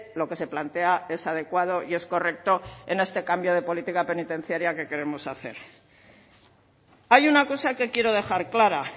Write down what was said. lo que se plantea es adecuado y es correcto en este cambio de política penitenciaria que queremos hacer hay una cosa que quiero dejar clara